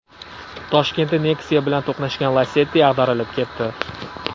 Toshkentda Nexia bilan to‘qnashgan Lacetti ag‘darilib ketdi.